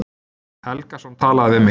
Helgason talaði við mig.